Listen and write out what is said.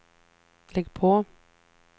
lägg på